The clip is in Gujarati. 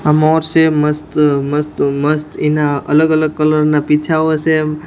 આ મોર સે મસ્ત મસ્ત-મસ્ત એના અલગ-અલગ કલર ના પીછાઓ સે અમ્મ.